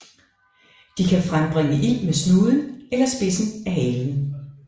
De kan frembringe ild med snuden eller spidsen af halen